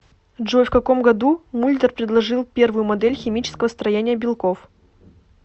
джой в каком году мульдер предложил первую модель химического строения белков